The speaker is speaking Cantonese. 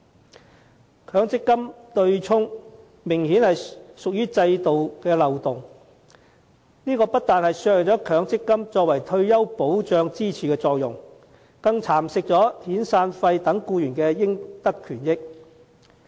強制性公積金對沖機制明顯屬於制度漏洞，不但削弱強積金作為退休保障支柱的作用，更蠶食遣散費等僱員應得的權益。